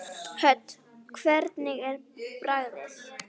Hödd: Hvernig er bragðið?